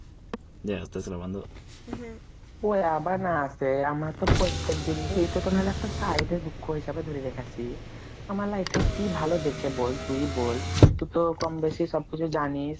ওই আবার না আসে, আমার তো প্রত্যেকদিন ই এট তো মানে একটা side এ দুঃখ হিসাবে ধরে রেখ্যাছি আমার life এ কি ভালো যেছে বোল তুই বোল তু তো কম বেশি সব কিছু জানিস,